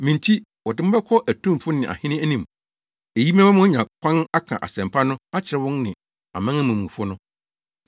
Me nti, wɔde mo bɛkɔ atumfo ne ahene anim. Eyi bɛma moanya kwan aka asɛmpa no akyerɛ wɔn ne amanamanmufo no.